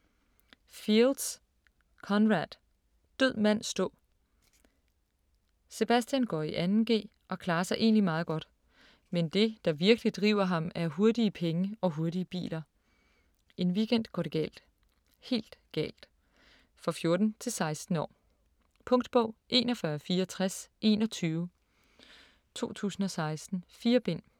Fields, Conrad: Død mand stå Sebastian går i 2.g og klarer sig egentlig meget godt, men det der virkelig driver ham er hurtige penge og hurtige biler. En weekend går det galt. Helt galt. For 14-16 år. Punktbog 416421 2016. 4 bind.